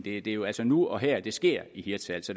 er jo altså nu og her det sker i hirtshals